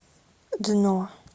дно